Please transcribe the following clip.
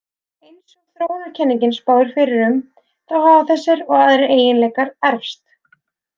Eins og þróunarkenningin spáir fyrir um, þá hafa þessir og aðrir eiginleikar erfst.